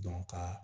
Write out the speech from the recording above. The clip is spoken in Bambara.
ka